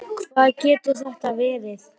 Hvað getur þetta verið?